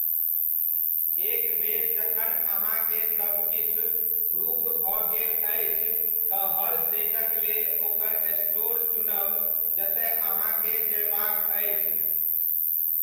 एक बेरि जखन अहांकेँ सब किछु ग्रुप भऽ गेल अछि तँ हर सेटक लेल ओकर स्टोर चुनब जतय अहाँकेँ जयबाक अछि।